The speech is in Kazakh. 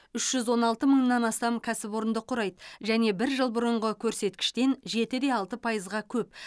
үш жүз он алты мыңнан астам кәсіпорынды құрайды және бір жыл бұрынғы көрсеткіштен жеті де алты пайызға көп